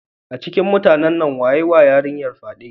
A cikin mutanen wa ya yiwa yarinyar fyade?